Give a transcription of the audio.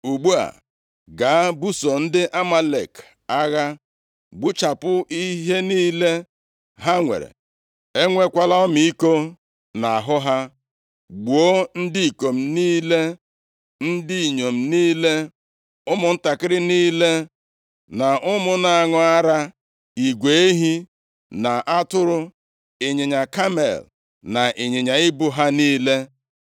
Ugbu a, gaa buso ndị Amalek agha. Gbuchapụ ihe niile + 15:3 Gbuchapụ ihe niile nke a, nʼokwu ndị Hibru pụtara i were ihe niile, tinyere mmadụ na anụ ụlọ, nyefee \+nd Onyenwe anyị\+nd* kpamkpam na-eleghị anya nʼazụ site ikpochapụ ha. Usoro okwu a dịkwa nʼamaokwu ndị a: \+xt 1Sa 15:8,9,15,18,20,21\+xt* ha nwere. Enwekwala ọmịiko nʼahụ ha. Gbuo ndị ikom niile, ndị inyom niile, ụmụntakịrị niile na ụmụ na-aṅụ ara, igwe ehi na atụrụ, ịnyịnya kamel na ịnyịnya ibu ha niile.’ ”